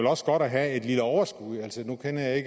også godt at have et lille overskud altså nu kender jeg